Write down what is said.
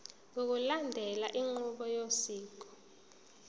ngokulandela inqubo yosiko